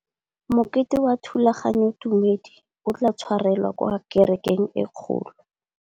Mokete wa thulaganyôtumêdi o tla tshwarelwa kwa kerekeng e kgolo.